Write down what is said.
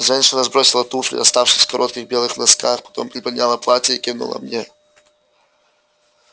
женщина сбросила туфли оставшись в коротких белых носках потом приподняла платье и кивнула мне